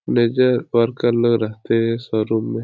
निचे वर्कर लोग रहते हैं शोरूम में |